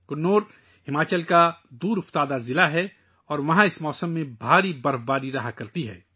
کنور ہماچل کا ایک دور افتادہ ضلع ہے اور اس موسم میں بھاری برف باری ہوتی ہے